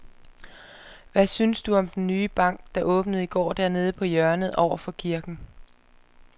Hvad synes du om den nye bank, der åbnede i går dernede på hjørnet over for kirken?